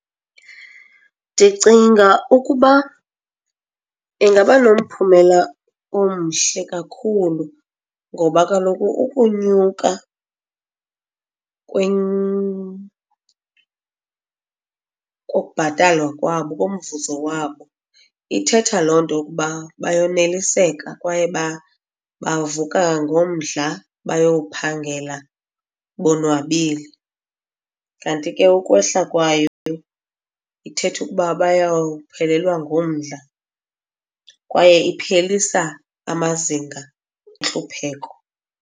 Ndicinga ukuba ingaba nomphumela omhle kakhulu ngoba kaloku ukunyuka kokubhatalwa kwabo, komvuzo wabo ithetha loo nto ukuba bayoneliseka kwaye bavuka ngomdla bayowuphangela bonwabile. Kanti ke, ukwehla kwayo ithetha ukuba bayawuphelelwa ngumdla, kwaye iphelisa amazinga entlupheko.